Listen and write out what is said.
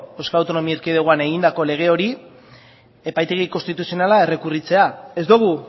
euskal autonomia erkidegoan egindako lege hori epaitegi konstituzionalean errekurritzea ez dugu